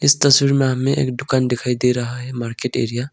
तस्वीर में हमें एक दुकान दिखाई दे रहा मार्केट एरिया --